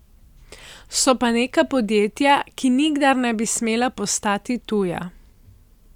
So pa neka podjetja, ki nikdar ne bi smela postati tuja.